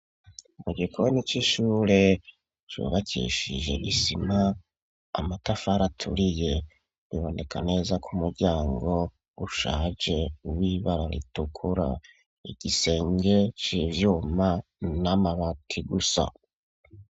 Mu gikoni c'ishure cubakishije isima, amatafari aturiye biboneka neza ko umuryango ushaje w'ibara ritukura. Igisenge c'ivyuma n'amabati gusa